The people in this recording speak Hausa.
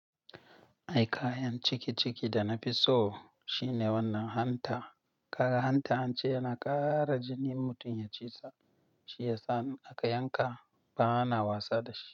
Ai kayan ciki ciki da na i so shine wannan hanta. Kaga hanta an ce yana ƙara jinin in mutum ya ci sa, shi yasa in aka yanka ba na wasa da shi.